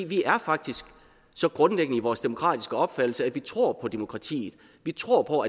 vi er faktisk så grundfæstede i vores demokratiske opfattelse at vi tror på demokratiet vi tror på